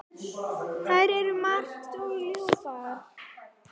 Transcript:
Þær eru margar og ljúfar.